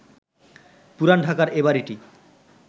পুরান ঢাকার এ বাড়িটি